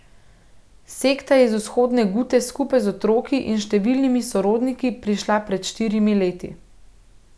Sekta je iz Vzhodne Gute skupaj z otroki in številnimi sorodniki prišla pred štirimi leti.